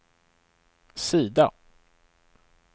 sida